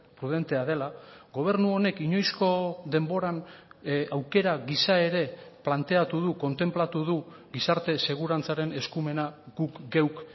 prudentea dela gobernu honek inoizko denboran aukera gisa ere planteatu du kontenplatu du gizarte segurantzaren eskumena guk geuk